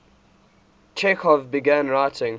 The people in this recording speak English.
chekhov began writing